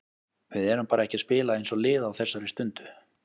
Við erum bara ekki að spila eins og lið á þessari stundu.